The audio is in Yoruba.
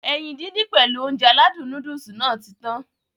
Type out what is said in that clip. Ẹyin dídín pèlu Ounjẹ aládùn nóódùsì Nàá ti tan